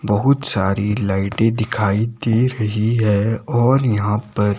बहुत शारी लाईटें दिखाई दे रही हैं और यहां पर--